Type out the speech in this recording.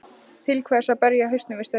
Til hvers að berja hausnum við stein?